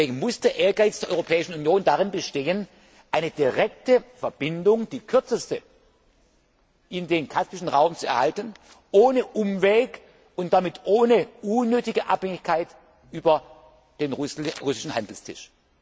uns. Deswegen muss der Ehrgeiz der Europäischen Union darin bestehen, eine direkte Verbindung die kürzeste in den kaspischen Raum zu erhalten, ohne Umweg und damit ohne unnötige Abhängigkeit über den russischen Handelstisch.